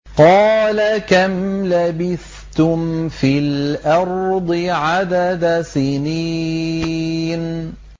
قَالَ كَمْ لَبِثْتُمْ فِي الْأَرْضِ عَدَدَ سِنِينَ